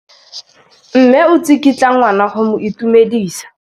Mme o tsikitla ngwana go mo itumedisa.